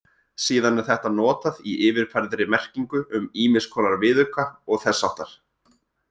Síðan er þetta notað í yfirfærðri merkingu um ýmiss konar viðauka og þess háttar.